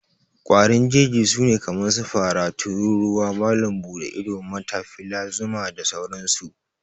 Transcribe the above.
ƙwarin Jeji sune kaman su, Fara, Tururuwa, Malam bude ido, Matafila zuma, da sauran su